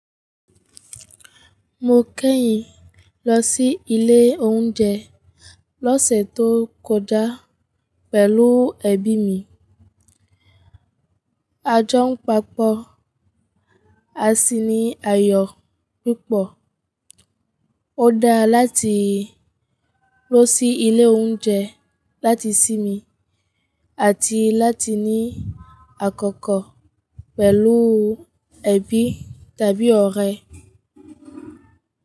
Mo kẹ́yìn lọ sí ilé oúnjẹ lọ́sẹ̀ tó kọjá pẹ̀lú ẹbí mi. A jọ ń pàpọ̀, a sì ní àyọ̀ pupọ̀. Ó dára láti lọ sí ilé oúnjẹ láti sinmi àti láti ní àkọ́kọ́ pẹ̀lú ẹbí tàbí ọ̀rẹ́.